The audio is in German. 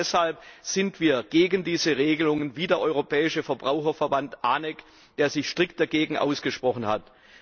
Genau deshalb sind wir gegen diese Regelungen, wie der Europäische Verbraucherverband ANEC, der sich strikt dagegen ausgesprochen hat.